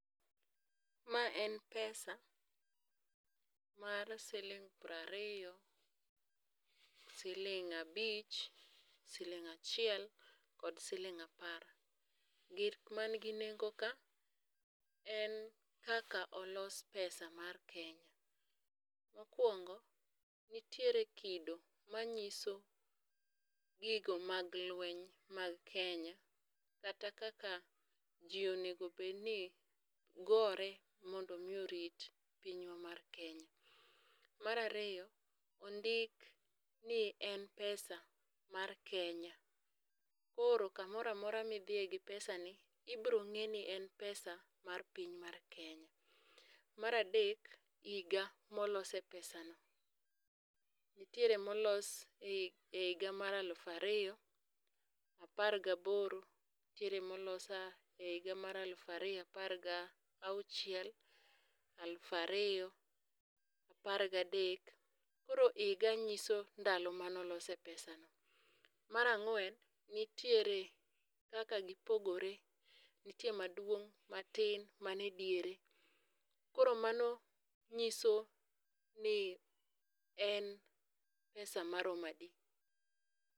Ma en pesa mar siling' piero ariyo, siling' abich ,siling' achiel kod siling' apar. Gik man ginengo ka, en kaka olos pesa mar Kenya. Mokuongo, nitiere kido manyiso gigo mag lueny mag Kenya kata kaka ji onego bed ni gore mondo mi orit pinywa mar Kenya. Mar ariyo, ondik ni en pesa mar Kenya, koro kamoro amora midhiye gi pesani, ibiro ng'e ni en pesa mar piny mar Kenya. Mar adek, higa molose pesano, nitiere molos ehiga mar aluf ariyo, apar gaboro, nitiere molos ehiga mar aluf ariyo apar gauchiel, aluf ariyo apar gadek koro higa nyiso ndalo mane olose pesani. Mar ang'wen, nitiere kaka gipogore. Nitiere maduong', matin, man ediere, koro mano nyiso ni en pesa maromo adi.